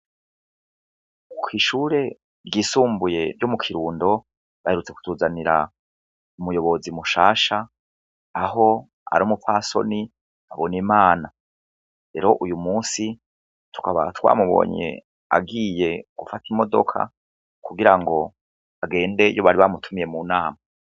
Kw' ishure ryisumbuye ryo mu Kirundo, baherutse kutuzanira umuyobozi mushasha aho ari umupfasoni Habonimana. Rero uyu munsi ,tukaba twamubonye agiye gufata imodoka kugirango agende iyo bari bamutumiye mu nama.